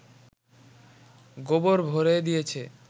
গোবর ভরে দিয়েছে